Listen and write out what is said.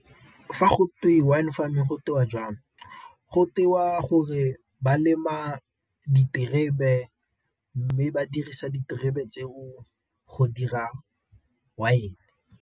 Fa gotwe wine farming gotewa jang? Go tewa gore ba lema diterebe, mme ba dirisa diterebe tseo go dira wine.